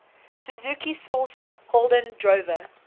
suzuki sourced holden drover